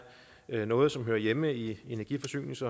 er noget som hører hjemme i energi forsynings